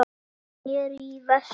Þeir sneru í vestur.